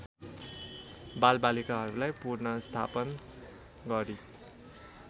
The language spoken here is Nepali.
बालबालिकाहरूलाई पुनर्स्थापन गरी